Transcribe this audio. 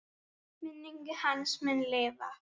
Minning hans mun lifa.